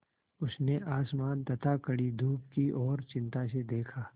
उसने आसमान तथा कड़ी धूप की ओर चिंता से देखा